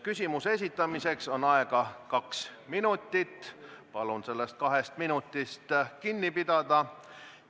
Küsimuse esitamiseks on aega kaks minutit – palun sellest kahest minutist kinni pidada!